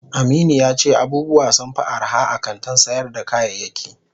Aminu yace abubuwa sunfi arha a kantin sayar da kayayaki.